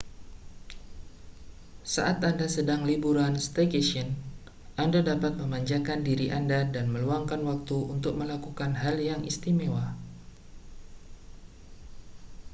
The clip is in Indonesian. saat anda sedang liburan staycation anda dapat memanjakan diri anda dan meluangkan waktu untuk melakukan hal yang istimewa